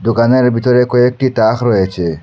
দোকানের ভিতরে কয়েকটি তাখ রয়েছে।